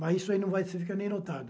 Mas isso aí não vai ficar nem notado.